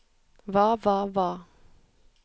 hva hva hva